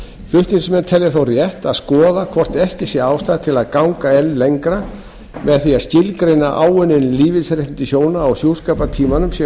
flutningsmenn telja þó rétt að skoða hvort ekki sé ástæða til að ganga enn lengra með því að skilgreina áunnin lífeyrisréttindi hjóna á hjúskapartímanum sem